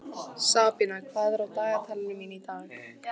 Sabína, hvað er á dagatalinu mínu í dag?